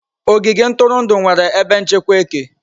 Ogige ntụrụndụ nwere ebe nchekwa eke.